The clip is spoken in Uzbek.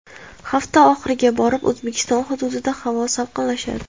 Hafta oxiriga borib O‘zbekiston hududida havo salqinlashadi.